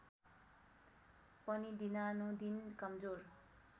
पनि दिनानुदिन कमजोर